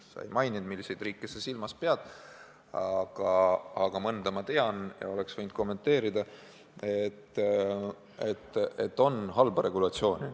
Sa ei maininud, mis riike sa silmas pead, aga mõnda ma tean ja võin kommenteerida, et on ka halba regulatsiooni.